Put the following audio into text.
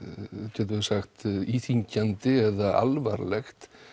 getum við sagt íþyngjandi eða alvarlegt